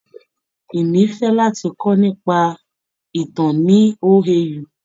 Ìní fẹ́ láti kọ́ nípa ìtàn ní OAU.